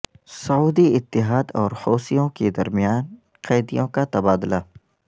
سعودی اتحاد اور حوثیوں کے درمیان قیدیوں کا تبادلہ